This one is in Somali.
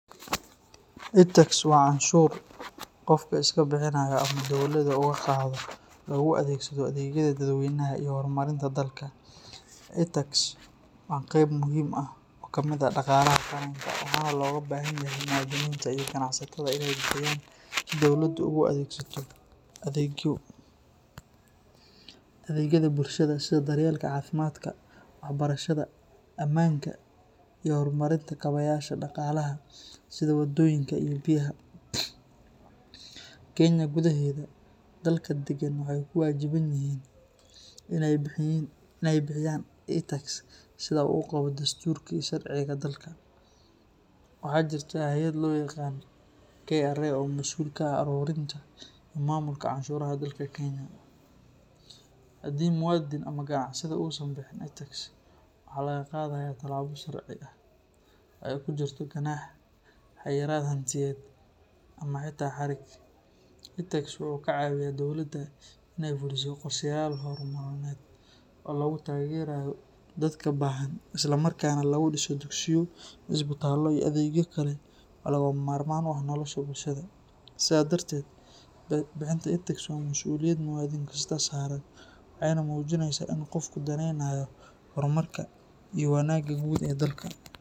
Itax waa canshuur qofku iska bixiyo ama dowladda uga qaado si loogu adeegsado adeegyada dadweynaha iyo horumarinta dalka. Itax waa qayb muhiim ah oo ka mid ah dhaqaalaha qaranka, waxaana looga baahan yahay muwaadiniinta iyo ganacsatada inay bixiyaan si dowladdu ugu adeegsato adeegyada bulshada sida daryeelka caafimaadka, waxbarashada, ammaanka iyo horumarinta kaabayaasha dhaqaalaha sida waddooyinka iyo biyaha. Kenya gudaheeda, dadka degan waxay ku waajiban yihiin inay bixiyaan itax sida uu qabo dastuurka iyo sharciga dalka. Waxaa jirta hay’ad loo yaqaan KRA oo mas’uul ka ah ururinta iyo maamulka canshuuraha dalka Kenya. Haddii muwaadin ama ganacsade uusan bixin itax, waxa laga qaadayaa tallaabo sharci ah oo ay ku jirto ganaax, xayiraad hantiyadeed ama xitaa xarig. Itax wuxuu ka caawiyaa dowladda in ay fuliso qorshayaal horumarineed oo lagu taageerayo dadka baahan, isla markaana lagu dhiso dugsiyo, isbitaallo, iyo adeegyo kale oo lagama maarmaan u ah nolosha bulshada. Sidaa darteed, bixinta itax waa mas’uuliyad muwaadin kasta saaran, waxayna muujinaysaa in qofku daneynayo horumarka iyo wanaagga guud ee dalka.